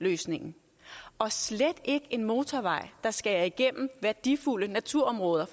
løsningen og slet ikke en motorvej der skærer igennem værdifulde naturområder